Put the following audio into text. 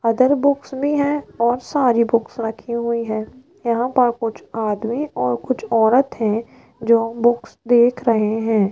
Other books भी है और सारी बुक्स रखी हुई है यहां पर कुछ आदमी और कुछ औरत है जो बुक्स देख रहे है।